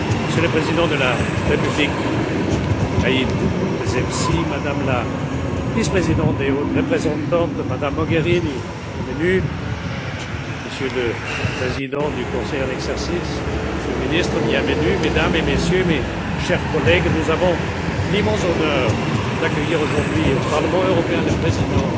Monsieur le Président Béji Caïd Essebsi, Madame la Vice présidente et Haute représentante Mogherini, bienvenue, Monsieur le Président du Conseil en exercice, Monsieur le Ministre, bienvenue, Mesdames et Messieurs, mes chers collègues, nous avons l'immense honneur d'accueillir aujourd'hui au Parlement européen le président